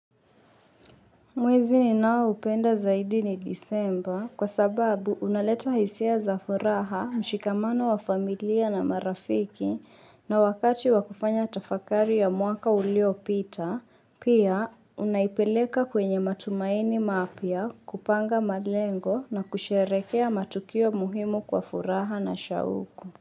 Mwezi ninaoupenda zaidi ni Disemba kwa sababu unaleta hisia za furaha, mshikamano wa familia na marafiki na wakati wakufanya tafakari ya mwaka uliopita, pia unaipeleka kwenye matumaini mapya kupanga malengo na kusherehekea matukio muhimu kwa furaha na shauku.